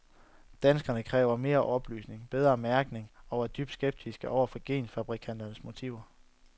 Danskerne kræver mere oplysning, bedre mærkning og er dybt skeptiske over for genfabrikanternes motiver.